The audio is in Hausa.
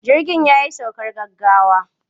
Jirgin ya yi saukar gaggawa.